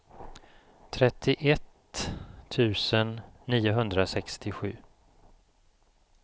trettioett tusen niohundrasextiosju